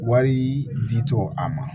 Wari di tɔ an ma